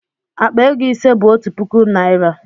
Akpa ego ise bu otu puku naira